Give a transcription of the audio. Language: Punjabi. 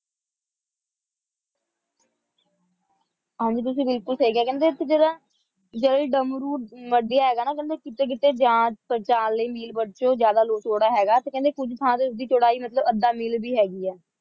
ਹਾਂ ਜੀ ਤੁਸੀਂ ਬਿਲਕੁਲ ਸਹੀ ਕਿਹਾ ਕਹਿੰਦੇ ਉੱਥੇ ਜਿਹੜਾ ਜਲਡਮਰੂ ਨਦੀਆਂ ਹੈਗਾ ਉਹ ਕਹਿੰਦੇ ਨਾ ਕੀਤੇ ਕੀਤੇ ਜਿਆਦਾ ਜਾਲ ਦੇ ਮੀਲ ਵਜੋਂ ਜਿਆਦਾ ਚੌੜਾ ਹੁੰਦਾ ਹੈਗਾ ਤੇ ਕੁਝ ਥਾਂ ਤੇ ਇਸਦੀ ਚੌੜਾਈ ਮਤਲਬ ਅੱਧਾ ਮੀਲ ਵੀ ਹੈਗੀ ਹੈ